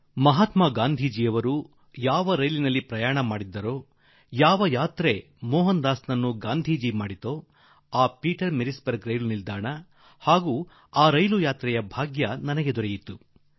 ನನಗೆ ಮಹಾತ್ಮಾ ಗಾಂಧಿ ಪ್ರಯಾಣ ಮಾಡಿದ ರೈಲು ಹಾಗೂ ಮೋಹನ್ ದಾಸ್ ನನ್ನು ಮಹಾತ್ಮಾ ಗಾಂಧಿ ಮಾಡುವ ಬೀಜಾಂಕುರಗೊಳಿಸಿದ ರೈಲು ಘಟನೆ ಅದೇ ಪೀಟರ್ ಮಾರ್ಟಿಸ್ ಬರ್ಗ್ ರೈಲು ನಿಲ್ದಾಣ ಪ್ರವಾಸಾನುಭವದ ಸೌಭಾಗ್ಯ ಪ್ರಾಪ್ತಿ ನನಗಾಯಿತು